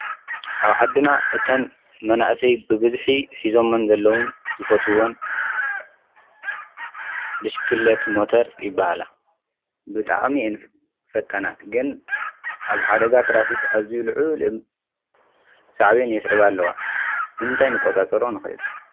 ኣብ ዓድና መናእሰይ ብብዝሒ ሒዞምዎን ዘለዉ ዝፈትዎን ብሽኪሊት ሞተር ይባሃላ፡፡ ብጣዕሚ እየን ፈጣናት ግን ኣብ ሓደጋ ትራፊክ ኣዙዩ ልዑል ሳዕቤን የብስዕባ ኣለዋ፡፡ ብምንታይ ክንቆፃፀሮ ንክእል?